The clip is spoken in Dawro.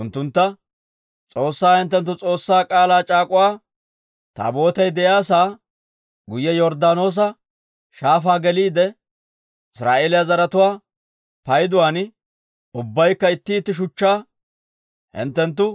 Unttuntta, «S'oossaa hinttenttu S'oossaa K'aalaa c'aak'uwa Taabootay de'iyaa sa'aa guyye Yorddaanoosa Shaafaa geliide Israa'eeliyaa zaratuwaa payduwaan, ubbaykka itti itti shuchchaa hinttenttu